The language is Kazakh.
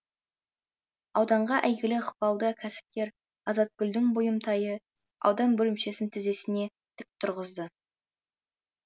ауданға әйгілі ықпалды кәсіпкер азатгүлдің бұйымтайы аудан бөлімшесін тізесіне тік тұрғызды